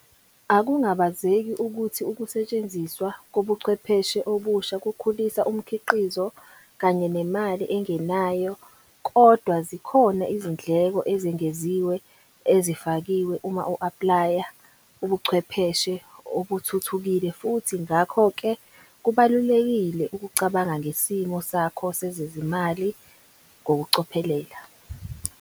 Akungabazeki ukuthi ukusetshenziswa kobuchwepheshe obusha kukhulisa umkhiqizo kanye nemali engenanyo. Kodwa zikhona izindleko ezengeziwe ezifakiwe uma u-aplaya ubuchwepheshe obuthuthukile futhi ngakho ke kubalulekile ukucabanga ngesimo sakho sezezimali ngokucophelela.